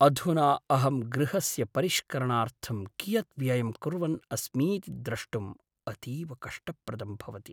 अधुना अहं गृहस्य परिष्करणार्थं कियत् व्ययं कुर्वन् अस्मीति द्रष्टुम् अतीव कष्टप्रदं भवति।